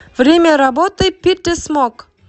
время работы питерсмок